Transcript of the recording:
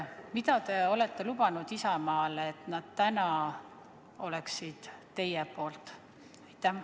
Mida te olete Isamaale lubanud, et nad täna oleksid teie poolt?